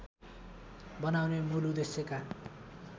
बनाउने मूल उद्देश्यका